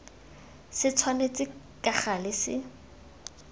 se tshwanetse ka gale se